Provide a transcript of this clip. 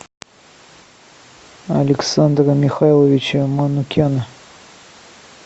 александра михайловича манукяна